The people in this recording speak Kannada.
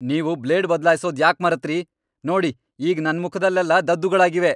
ನೀವು ಬ್ಲೇಡ್ ಬದ್ಲಾಯ್ಸೋದ್ ಯಾಕ್ ಮರೆತ್ರಿ? ನೋಡಿ ಈಗ ನನ್ ಮುಖದಲ್ಲೆಲ್ಲ ದದ್ದುಗಳಾಗಿವೆ!